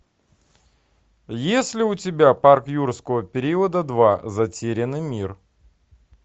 есть ли у тебя парк юрского периода два затерянный мир